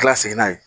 kila segin n'a ye